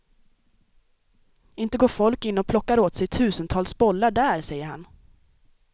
Inte går folk in och plockar åt sig tusentals bollar där, säger han.